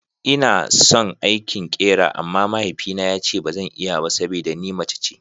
Ina son aikin ƙera amma mahaifina yace bazan iya ba saboda ni mace ce.